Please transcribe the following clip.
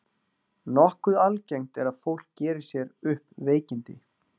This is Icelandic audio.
Nokkuð algengt er að fólk geri sér upp veikindi.